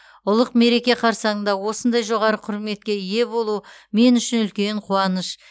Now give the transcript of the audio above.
ұлық мереке қарсаңында осындай жоғары құрметке ие болу мен үшін үлкен қуаныш